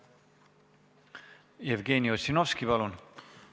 Jevgeni Ossinovski, palun!